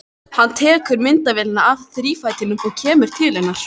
Hann tekur myndavélina af þrífætinum og kemur til hennar.